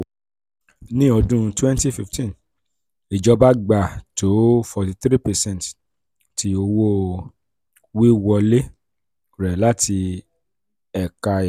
ni ọdun 2015 ijọba gba to 43 percent ti owo-wiwọle rẹ lati eka epo.